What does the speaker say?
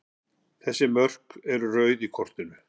Þessi mörk eru rauð á kortinu.